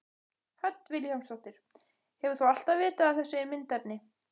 Hödd Vilhjálmsdóttir: Hefur þú alltaf vitað af þessu myndefni?